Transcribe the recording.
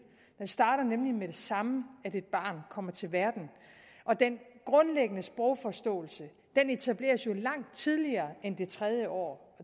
den starter nemlig med det samme et barn kommer til verden og den grundlæggende sprogforståelse etableres jo langt tidligere end det tredje år